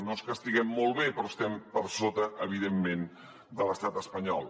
no és que estiguem molt bé però estem per sota evidentment de l’estat espanyol